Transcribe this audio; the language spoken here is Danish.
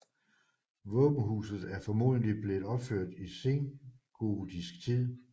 Våbenhuset er formodentlig blevet opført i sengotisk tid